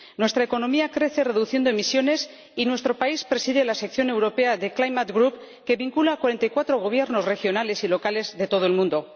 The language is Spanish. Nuestra economía crece reduciendo emisiones y nuestro país preside la sección europea de The Climate Group, que vincula a cuarenta y cuatro gobiernos regionales y locales de todo el mundo.